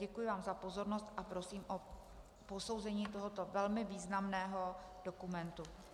Děkuji vám za pozornost a prosím o posouzení tohoto velmi významného dokumentu.